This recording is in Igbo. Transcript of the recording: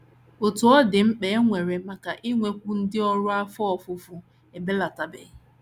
Otú ọ dị, mkpa e nwere maka inwekwu ndị ọrụ afọ ofufo ebelatabeghị.